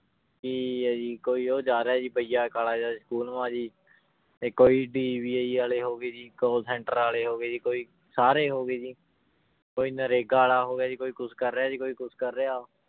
ਕੀ ਆ ਜੀ ਕੋਈ ਉਹ ਜਾ ਰਿਹਾ ਸੀ ਭਈਆ ਕਾਲਾ ਜਿਹਾ school ਕੋਈ ਵਾਲੇ ਹੋ ਗਏ ਜੀ call center ਵਾਲੇ ਹੋ ਗਏ ਜੀ, ਕੋਈ ਸਾਰੇ ਹੋ ਗਏ ਜੀ ਕੋਈ ਨਰੇਗਾ ਵਾਲਾ ਹੋ ਗਿਆ ਜੀ ਕੋਈ ਕੁਛ ਕਰ ਰਿਹਾ ਜੀ ਕੋਈ ਕੁਛ ਕਰ ਰਿਹਾ